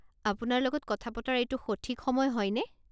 আপোনাৰ লগত কথা পতাৰ এইটো সঠিক সময় হয়নে?